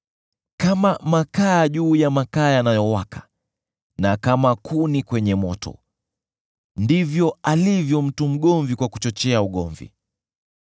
Kama makaa juu ya makaa yanayowaka, na kama kuni kwenye moto, ndivyo alivyo mtu mgomvi kwa kuchochea ugomvi.